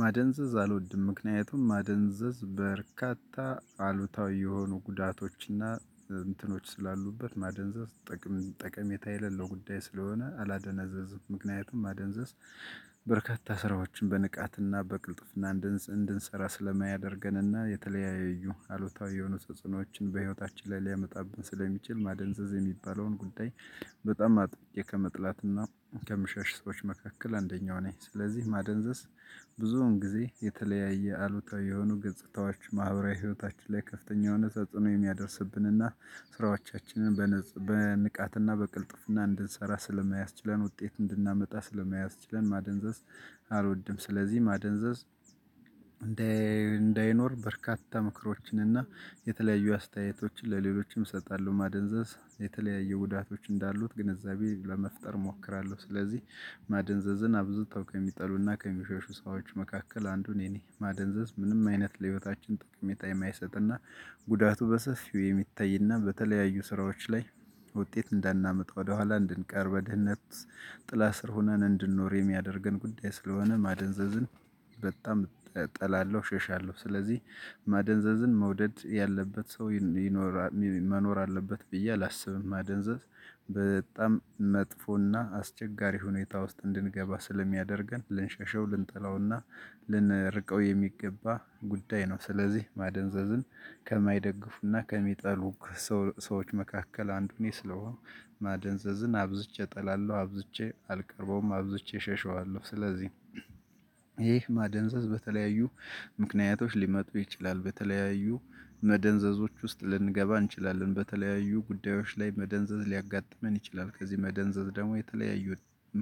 ማደንዘዝ አልወድም ምክንያቱም ማደንዘዝ በርካታ አሉታዊ የሆኑ ጉዳቶችና እንትኖች ስላሉበት ማደንዘዝ ጠቀሜታ የሌለው ጉዳይ ስለሆነ አላደነዘዝም። ምክንያቱም ማደንዘዝ በርካታ ስራዎችን በንቃትና በቅልጥፍና እንድንሰራ ስለማያደርገንና የተለያየ እዩ አሉታዊ የሆኑ ተጽዕኖዎችን በህይወታችን ላይ ሊያመጣብን ስለሚችል ማደንዘዝ የሚባለውን ጉዳይ በጣም አጥብቄ ከመጥላትና ከምሸሽ ሰዎች መካከል አንደኛው ነኝ። ስለዚህ ማደንዘዝ ብዙውን ጊዜ የተለያየ አሉታዊ የሆኑ ገጽታዎች ማህበራዊ ህይወታችን ላይ ከፍተኛ የሆኑ ተጽዕኖ የሚያደርስብንና ስራዎቻችንን በንቃትና በቅልጥፍና እንድንሰራ ስለማያስችለን ውጤት እንድናመጣ ስለማያስችለን ማደንዘዝ አልወድም። ስለዚህ ማደንዘዝ እንዳይኖር በርካታ እና የተለያዩ አስተያየቶች ለሌሎችም እሰጣለው ማደንዘዝ የተለያዩጉዳቶች ኣንዳሉት ግንዛቤ መፍጠር እፈልጋለሁ። ማደንዘዝ ኣብዝቶ ከሚጠሉ እና ከሚሸሹ ኣንዱ እኔ ነኝ። ጉዳቱ በሰፊ የሚታይና በተለያዩ ስራዎች ላይ ውጤት እንዳናመጣ ወደሃላ እንድንቀር በድህነት ጥላ ስር ሆነን እንድንኖር የሚያደርገን ጉዳይ ስለ ሆነ። ማደንዘዝን በጣም እጠላለው እሸሻለው ስለዚህ ማደንዘዝን መውደድ ያለበት ሰው መኖር አለበት ብየ ኣላስብም። ማደንዘዝ በጣም መጥፎ እና አስቸጋሪ ሁኔታ ውስጥ እንድንገባ ስለ ምያደርገን ልንሸሸው ልንጠላው እና ልንርቀው የሚገባ ጉዳይ ነው። ስለዚህ ማደንዘዝን ከማይደግፉ እና ከሚጠሉ ሰው ሰዎች መካከል ኣንዱ እኔ ስለሆንኩ ማደንዘዝን አብዝቼ እጠላለው ኣብዝቼ ኣልቀርበውም ኣብዝቼ እሸሸዋለው ስለዚህ። ማደንዘዝ በተለያዩ ምክንያቶች ሊመጡ ይችላሉ በተለያዩ መደንዘዝዎች ውስጥ ልንገባ እንችላለን በተለያዩ ጉዳዮች ላይ መደንዘዝ ልያጋጥመን ይችላል። ከዚ መደንዘዝ ደግሞ የተለያዩ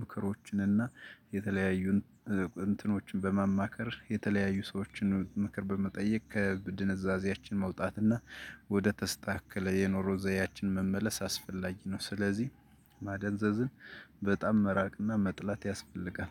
ምክሮችና የተለያዩ እንትኖችን በማማከር የተለያዩ ሰዎች ምክር በመጠየቅ ከድንዛዜያችን መውጣት እና ወደ ተስተካከለ የንሮ ዘድያችን መመለስ አስፈላጊ ነው። ስለዚህ ማደንዘዝን በጣም መራቅ እና መጥላት ያስፈልጋል።